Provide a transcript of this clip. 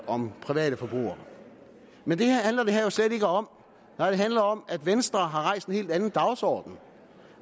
om private forbrugere men det handler det her jo slet ikke om nej det handler om at venstre har en helt anden dagsorden